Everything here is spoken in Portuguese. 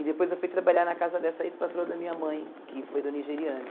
E depois eu fui trabalhar na casa dessa ex-patroa da minha mãe, que foi do nigeriano.